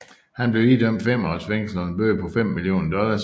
Han blev idømt 5 års fængsel og en bøde på 5 millioner dollars